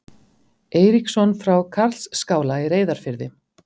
Eiríksson frá Karlsskála í Reyðarfirði.